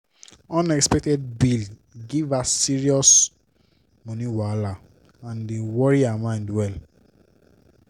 unexpected bill give her serious money wahala and e worry her mind well.